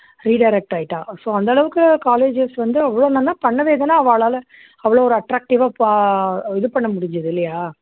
redirect ஆயிட்டா அந்த அளவுக்கு colleges வந்து அவ்ளோ நன்னா பண்ணவே தான அவாளால அவ்ளோ attractive ஆ பா இது பண்ன முடிஞ்சுது இல்லையா